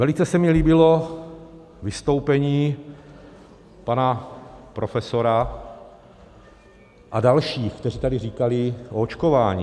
Velice se mi líbilo vystoupení pana profesora a dalších, kteří tady říkali o očkování.